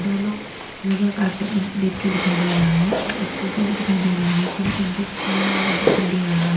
यहां लोग योगा कार्पेट में बैठ के दिखाई दे रहा है और एक टोपी भी दिखाई दे रहा है। तीन सिंथेटिक कलर काला वाला दिखाई दे रहा है।